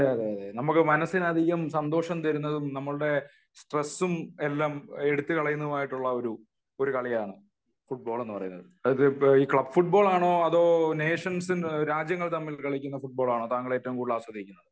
അതെയതെ നമുക്ക് മനസ്സിന് അധികം സന്തോഷം തരുന്നതും നമ്മളുടെ സ്‌ട്രെസും എല്ലാം എടുത്തുകളയുന്നതും ആയിട്ടുള്ള ഒരു കളിയാണ് ഫുട്ബോൾ എന്ന് പറയുന്നത് . അത് ക്ലബ് ഫുട്ബോൾ ആണോ അതോ നേഷൻസ് രാജ്യങ്ങൾ തമ്മിൽ കളിക്കുന്ന ഫുടബോൾ ആണോ താങ്കൾ ഏറ്റവും കൂടുതൽ ആസ്വദിക്കുന്നത്